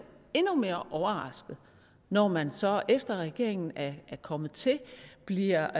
endnu mere overrasket når man så efter at regeringen er kommet til bliver